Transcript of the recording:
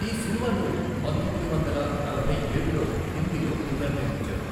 ఈ సినిమాను పంతొమ్మిది వందల నలభై ఏడులో హిందీలో పునర్నిర్మించారు.